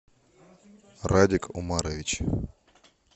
радик умарович